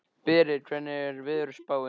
Berit, hvernig er veðurspáin?